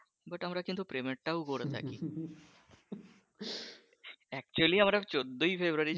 but আমরা কিন্তু প্রেমেরটাও করে থাকি কতুল্য আমরা চোদ্দোই ফেব্রুয়ারি